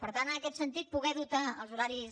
per tant en aquest sentit poder dotar els horaris